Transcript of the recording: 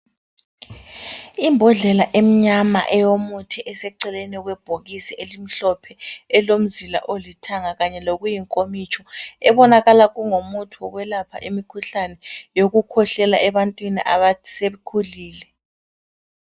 Imbodlela emnyama eyomuthi eseceleni kwebhokisi elimhlophe elilomzila olithanga kanye lokuyinkomitsho ebonakala kungumuthi wokwelapha imikhuhlane yokukhwehlela ebantwini asebekhulile.